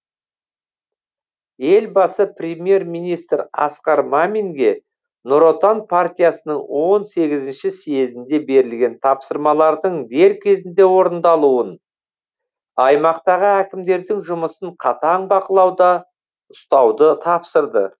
елбасы премьер министр асқар маминге нұр отан партиясының он сегізінші съезінде берілген тапсырмалардың дер кезінде орындалуын аймақтағы әкімдердің жұмысын қатаң бақылауда ұстауды тапсырды